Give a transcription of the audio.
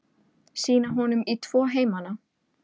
Sýna honum í tvo heimana.